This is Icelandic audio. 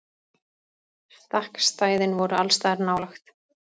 Stakkstæðin voru allsstaðar nálæg.